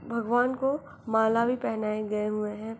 भगवान को माला भी पहनाए गए हुए है।